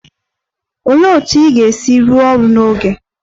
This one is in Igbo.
Olee otú ị ga-esi rụọ ọrụ n'oge?